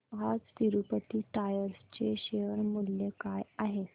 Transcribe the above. आज तिरूपती टायर्स चे शेअर मूल्य काय आहे